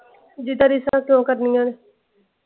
ਜਿਦਾ ਰੀਸਾ ਅਸੀਂ ਉਹ ਕਰਨੀਆਂ ਨੇ।